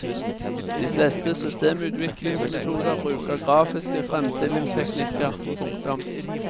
De fleste systemutviklingsmetoder bruker grafiske fremstillingsteknikker. punktum